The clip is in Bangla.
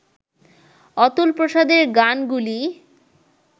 অতুলপ্রসাদের গানগুলি